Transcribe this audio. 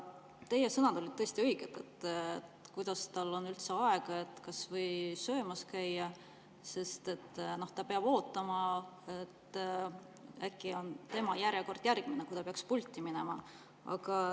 Teie sõnad olid tõesti õiged: kuidas tal on üldse aega kas või söömas käia, sest ta peab ootama, äkki on tema järjekord järgmine ja ta peab pulti minema.